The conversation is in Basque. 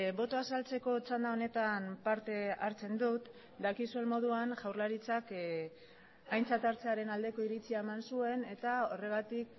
botoa azaltzeko txanda honetan parte hartzen dut dakizuen moduan jaurlaritzak aintzat hartzearen aldeko iritzia eman zuen eta horregatik